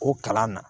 O kalan na